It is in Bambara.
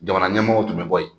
Jamana ɲɛmɔgɔ tun bɛ bɔ yen.